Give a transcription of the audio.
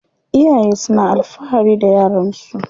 Iyaye suna alfahari da yaran su.